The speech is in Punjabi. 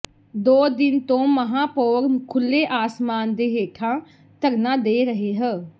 ਦੋ ਦਿਨ ਤੋਂ ਮਹਾਪੌਰ ਖੁਲ੍ਹੇ ਆਸਮਾਨ ਦੇ ਹੇਠਾਂ ਧਰਨਾ ਦੇ ਰਹੇ ਹ